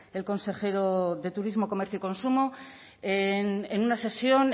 el consejero de turismo comercio y consumo en una sesión